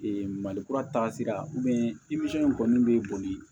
mali kura taasira in kɔni bɛ boli